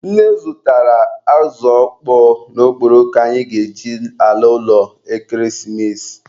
Nne zụtara azụ ọkpọọ na okporoko anyị ga-eji ala ụlọ ekeresimesi.